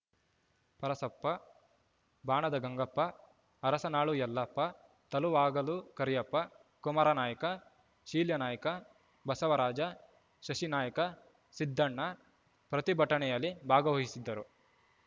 ಪರಸಪ್ಪ ಬಾಣದ ಗಂಗಪ್ಪ ಅರಸನಾಳು ಯಲ್ಲಪ್ಪ ತಲುವಾಗಲು ಕರಿಯಪ್ಪ ಕುಮಾರನಾಯ್ಕ ಶೀಲ್ಯಾನಾಯ್ಕ ಬಸವರಾಜ ಶಶಿನಾಯ್ಕ ಸಿದ್ದಣ್ಣ ಪ್ರತಿಭಟನೆಯಲ್ಲಿ ಭಾಗವಹಿಸಿದ್ದರು